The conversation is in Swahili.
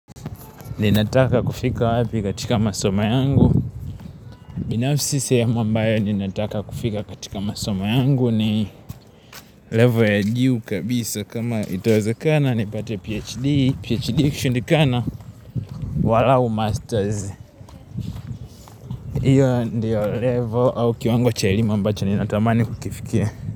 Ninataka kufika wapi katika masomo yangu? Binafsi sehemu ambayo ninataka kufika katika masoma yangu ni Level ya juu kabisa kama itawezekana nipate PhD PhD ikishindikana, angalau masters. Hiyo ndiyo level au kiwango cha elimu ambacho ninatamani kukifikia.